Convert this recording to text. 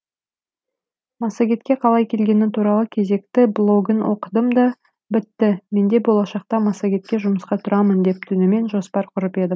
массагетке қалай келгені туралы кезекті блогын оқыдым да бітті менде болашақта массагетке жұмысқа тұрамын деп түнімен жоспар құрып едім